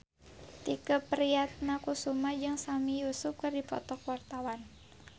Tike Priatnakusuma jeung Sami Yusuf keur dipoto ku wartawan